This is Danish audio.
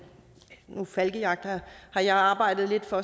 falkejagt har jeg arbejdet lidt for